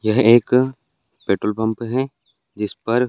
यह एक petrol pump है जिस पर --